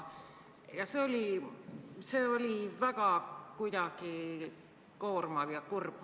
See oli kuidagi väga koormav ja kurb.